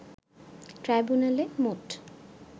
ট্রাইব্যুনালে মোট